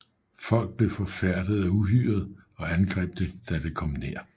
Folk blev forfærdet af uhyret og angreb det da det kom nær